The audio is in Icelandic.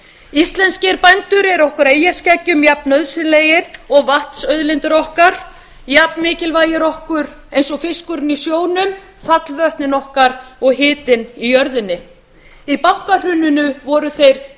íslenskir bændur eru okkur eyjaskeggjum jafnnauðsynlegir og vatnsauðlindir okkar jafnmikilvægir okkur og fiskurinn í sjónum fallvötnin okkar og hitinn í jörðinni í bankahruninu voru þeir